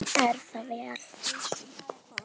Er það sláandi há tala.